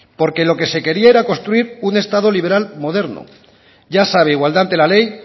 porque lo que se quería era construir un estado liberal moderno ya sabe igualdad ante la ley